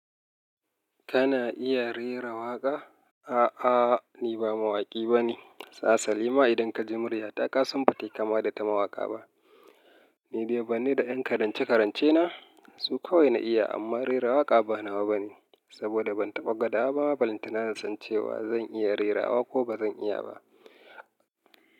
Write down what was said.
Kana iya rera waƙa? A'a, ni ba mawaƙi bane. Hasalima, idan ka ji murya ta kasan ba ta yi kama da ta mawaƙa ba. Ni dai bar ni da 'yan karance-karance na. Su kawai na iya amma rera waƙa ba nawa bane saboda ban taɓa gwada ba. Balantana in san cewa zan iya rera wa ko ba zan iya ba.